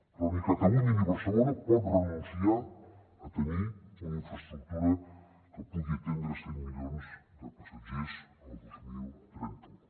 però ni catalunya ni barcelona poden renunciar a tenir una infraestructura que pugui atendre cent milions de passatgers el dos mil trenta u